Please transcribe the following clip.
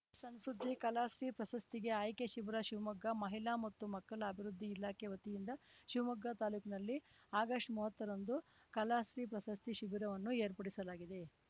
ಸಣ್‌ಸುದ್ದಿ ಕಲಾಶ್ರೀ ಪ್ರಶಸ್ತಿಗೆ ಆಯ್ಕೆ ಶಿಬಿರ ಶಿವಮೊಗ್ಗ ಮಹಿಳಾ ಮತ್ತು ಮಕ್ಕಳ ಅಭಿವೃದ್ಧಿ ಇಲಾಖೆ ವತಿಯಿಂದ ಶಿವಮೊಗ್ಗ ತಾಲೂಕಿನಲ್ಲಿ ಆಗಸ್ಟ್ಮೂವತ್ತರಂದು ಕಲಾಶ್ರೀ ಪ್ರಶಸ್ತಿ ಶಿಬಿರವನ್ನು ಏರ್ಪಡಿಸಲಾಗಿದೆ